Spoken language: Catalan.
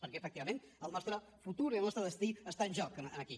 perquè efectivament el nostre futur i el nostre destí està en joc aquí